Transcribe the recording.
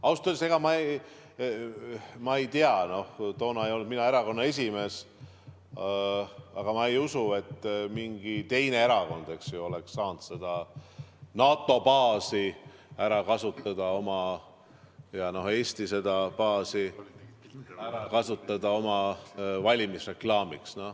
Ausalt öeldes, ma ei tea, toona ei olnud mina erakonna esimees, aga ma ei usu, et mingi teine erakond oleks saanud seda NATO baasi Eestis ära kasutada oma valimisreklaamiks.